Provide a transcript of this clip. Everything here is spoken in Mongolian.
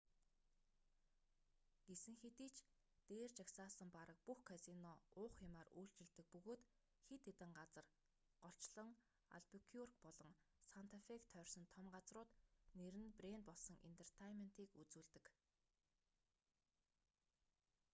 гэсэн хэдий ч дээр жагсаасан бараг бүх казино уух юмаар үйлчилдэг бөгөөд хэд хэдэн газар голчлон альбукюрк болон санта фег тойрсон том газрууд нэр нь брэнд болсон энтертайнментыг үзүүлдэг